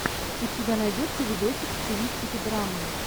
у тебя найдется видосик в стилистике драмы